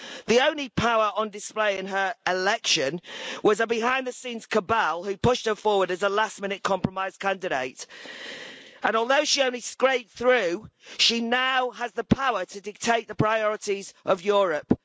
The only power on display in her election was a behind the scenes cabal, which pushed her forward as a last minute compromise candidate. And although she only scraped through, she now has the power to dictate the priorities of Europe.